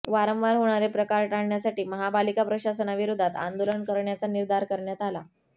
वारंवार होणारे प्रकार टाळण्यासाठी महापालिका प्रशासनाविरोधात आंदोलन करण्याचा निर्धार करण्यात आला